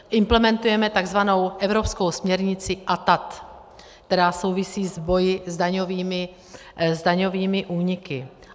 Implementujeme takzvanou evropskou směrnici ATAD, která souvisí s boji s daňovými úniky.